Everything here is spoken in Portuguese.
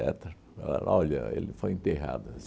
Falaram, olha, ele foi enterrado